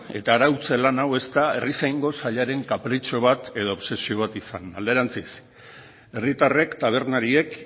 eta arautze lan hau ez da herrizaingo sailaren kapritxo bat izan alderantziz herritarrek tabernariek